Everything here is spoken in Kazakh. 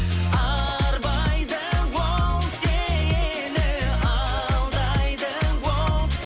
арбайды ол сені алдайды ол